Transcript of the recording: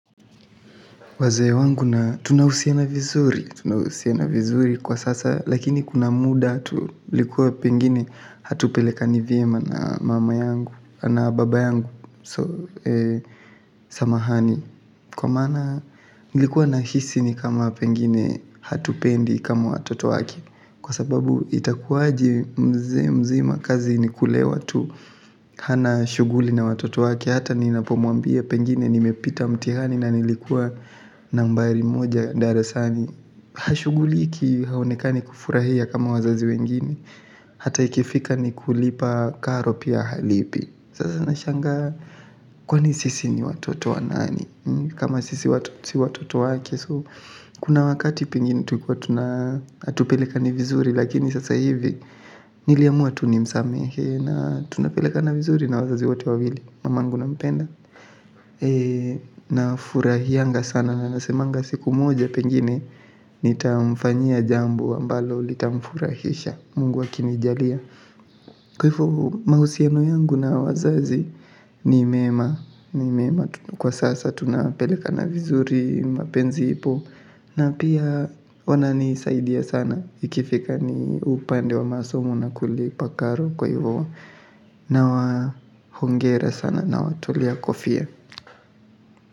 Wazee wangu na tunahusiana vizuri, tunahusiana vizuri kwa sasa, lakini kuna muda tu ilikuwa pengine hatupelekani vyema na mama yangu, na baba yangu samahani. Kwa maana nilikuwa nahisi ni kama pengine hatupendi kama watoto wake kwa sababu itakuwaje mzee mzima kazi ni kulewa tu. Hana shughuli na watoto wake hata ninapomwambia pengine nimepita mtihani na nilikuwa nambari moja darasani. Hashughuliki haonekani kufurahia kama wazazi wengine hata ikifika ni kulipa karo pia halipi. Sasa nashangaa kwani sisi ni watoto wa nani kama sisi si watoto wake. Kuna wakati pengine tulikuwa hatupelekani vizuri lakini sasa hivi niliamua tu nimsamehe na tunapelekana vizuri na wazazi wote wawili. Mamangu nampenda nafurahianga sana na nasemanga siku moja pengine nitamfanyia jambo ambalo litamfurahisha Mungu akinijalia. Kwa hivyo mahusiano yangu na wazazi ni mema. Kwa sasa tunapelekana vizuri mapenzi ipo na pia wananisaidia sana ikifika ni upande wa masomo na kulipa karo kwa hivyo nawahongera sana nawatolea kofia.